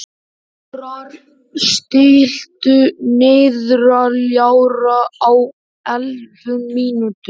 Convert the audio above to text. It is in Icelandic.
Þórar, stilltu niðurteljara á ellefu mínútur.